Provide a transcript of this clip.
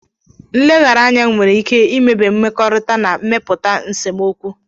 Nleghara anya nwere ike imebi mmekọrịta ma mepụta nsemokwu.